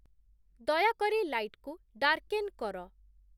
ଦୟାକରି ଲାଇଟ୍‌କୁ ଡାର୍କେନ୍‌ କର